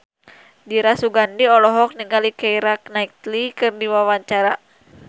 Dira Sugandi olohok ningali Keira Knightley keur diwawancara